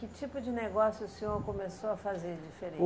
Que tipo de negócio o senhor começou a fazer de